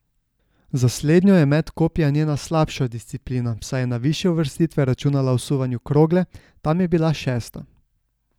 Za slednjo je met kopja njena slabša disciplina, saj je na višje uvrstitve računala v suvanju krogle, tam je bila šesta.